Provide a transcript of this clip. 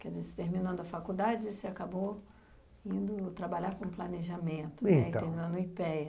quer dizer, terminando a faculdade, você acabou indo trabalhar com planejamento, é então terminando no i pê é á.